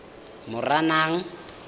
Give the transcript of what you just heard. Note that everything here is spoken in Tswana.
moranang